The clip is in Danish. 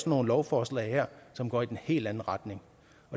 nogle lovforslag her som går i den helt anden retning